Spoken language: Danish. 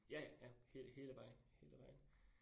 Ja ja, ja hele vejen, hele vejen